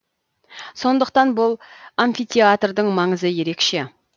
сондықтан бұл амфитеатрдың маңызы ерекше